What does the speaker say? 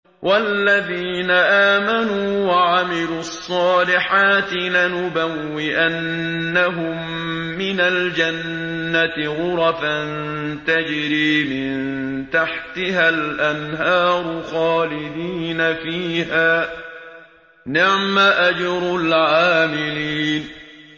وَالَّذِينَ آمَنُوا وَعَمِلُوا الصَّالِحَاتِ لَنُبَوِّئَنَّهُم مِّنَ الْجَنَّةِ غُرَفًا تَجْرِي مِن تَحْتِهَا الْأَنْهَارُ خَالِدِينَ فِيهَا ۚ نِعْمَ أَجْرُ الْعَامِلِينَ